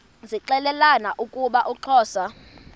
zixelelana ukuba uxhosa